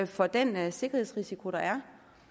for den sikkerhedsrisiko der er